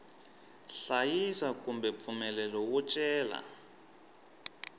hlayisa kumbe mpfumelelo wo cela